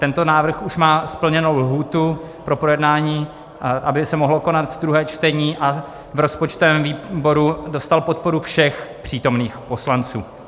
Tento návrh už má splněnou lhůtu pro projednání, aby se mohlo konat druhé čtení, a v rozpočtovém výboru dostal podporu všech přítomných poslanců.